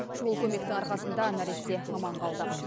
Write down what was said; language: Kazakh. шұғыл көмектің арқасында нәресте аман қалды